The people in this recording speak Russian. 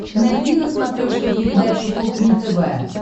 найди на смотрешке передачу кухня тв